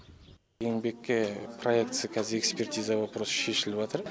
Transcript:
еңбекке проектісі қазір экспетиза вопрос шешіліватыр